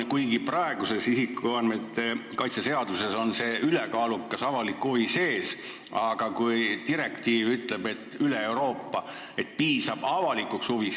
Praeguses isikuandmete kaitse seaduses on see ülekaalukas avalik huvi sees, aga üle Euroopa kehtiv direktiiv ütleb, et piisab avalikust huvist.